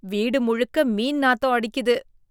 வீடு முழுக்க மீன் நாத்தம் அடிக்குது